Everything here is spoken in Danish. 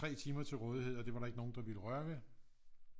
Tre timer til rådighed og det var der ikke nogen der ville røre ved